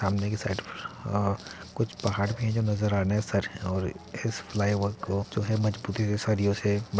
सामने की साइड अ कुछ आ पहाड़ भी नज़र है और एक इस फ्लाईओवर को जो हैं मज़बूती से सरियों से --